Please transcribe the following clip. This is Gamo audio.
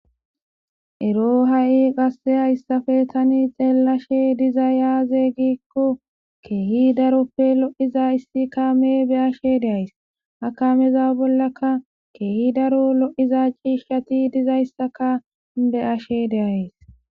Ero ha'i gasse hayssafe tani xeelashe diza yaaze giikko keehi daroppe lo'iza issi kaame be ashe deays ha kameza bollaka keehi daro lo'iza ciishshati dizayssaka be ashe deays